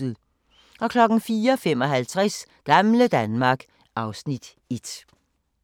04:55: Gamle Danmark (Afs. 1)